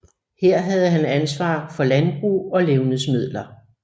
Her havde han ansvar for landbrug og levnedsmidler